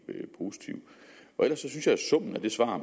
positiv ellers synes jeg at summen af det svar